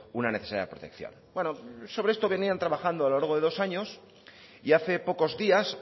una necesidad de protección sobre esto venían trabajando a lo largo de dos años y hace pocos días